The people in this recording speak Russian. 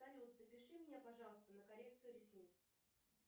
салют запиши меня пожалуйста на коррекцию ресниц